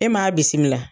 E m'a bisimila